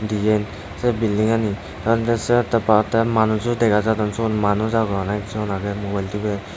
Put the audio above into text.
diyen sei bildingani tey indisiye tey pattey manujo dega jadon syot manuj agon ekjon agey mubel duber.